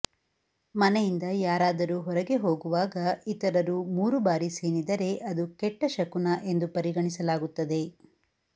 ಮನೆಯಿಂದ ಯಾರಾದರೂ ಹೊರಗೆ ಹೂಗುವಾಗ ಇತರರು ಮೂರು ಬಾರಿ ಸೀನಿದರೆ ಅದು ಕೆಟ್ಟ ಶಕುನ ಎಂದು ಪರಿಗಣಿಸಲಾಗುತ್ತದೆ